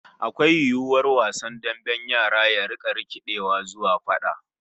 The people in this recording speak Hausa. Akwai yiwuwar wasan damben yara ya rika rikidewa zuwa fada?